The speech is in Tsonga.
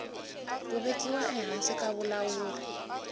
ku vekiwa ehansi ka vulawuri